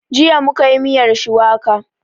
Jiya mu ka yi miyar shuwaka